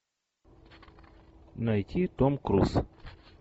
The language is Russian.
найти том круз